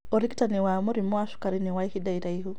ũrigitani wa mũrimu wa cukari nĩ wa ihinda iraihu